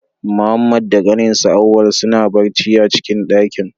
Muhammad da ƙaninsa, Auwal suna barci a'cikin daƙin.